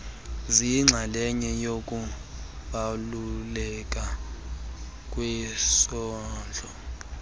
ziyinxaleye yokubalulekileyo kwisondlo